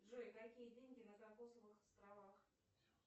джой какие деньги на кокосовых островах